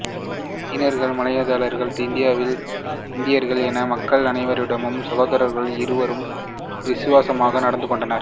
சீனர்கள் மலாய்க்காரர்கள் இந்தியர்கள் என மக்கள் அனைவரிடமும் சகோதரர்கள் இருவரும் விசுவாசமாக நடந்து கொண்டனர்